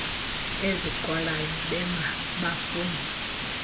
ezinqwalayo benga bafuna